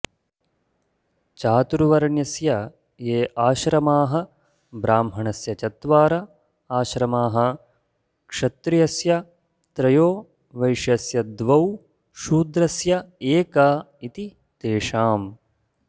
चातुर्वर्ण्यस्य ये आश्रमाः ब्राह्मणस्य चत्वार आश्रमाः क्षत्रियस्य त्रयो वैश्यस्य द्वौ शूद्रस्यैक इति तेषाम्